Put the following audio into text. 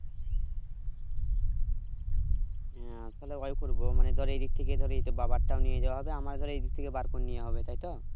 আহ তাহলে ওই করবো মানে ধর এই দিক থেকে ধর এইভাবে বাবারটাও নিয়ে যায় হবে আমারও এই দিক থেকে বের করে নেওয়া হবে তাই তো